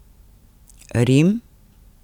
Rim?